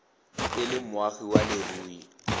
e le moagi wa leruri